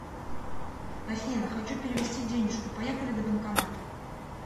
афина хочу перевести денежку поехали до банкомата